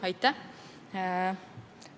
Aitäh!